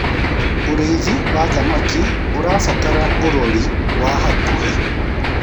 ũrĩithi wa thamakĩ ũrabatara urori wa hakuhi